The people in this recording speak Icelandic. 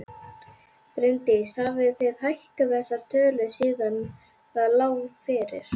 Bryndís: Hafið þið hækkað þessar tölur síðan það lá fyrir?